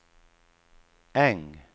Äng